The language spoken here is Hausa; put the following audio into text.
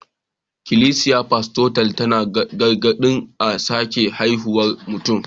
Ikilisiyar Pentikostal tana gargaɗin a sake haifuwar mutum